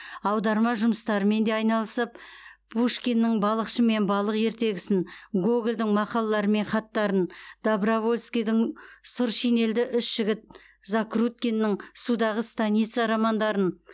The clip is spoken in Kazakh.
аударма жұмыстарымен де айналысып пушкиннің балықшы мен балық ертегісін гогольдің мақалалары мен хаттарын добровольскийдің сұр шинельді үш жігіт закруткиннің судағы станица романдарын